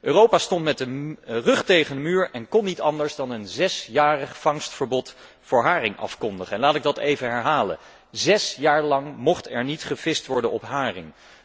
Europa stond met de rug tegen de muur en kon niet anders dan een zesjarig vangstverbod voor haring afkondigen. En laat ik dat even herhalen zes jaar lang mocht er niet gevist worden op haring!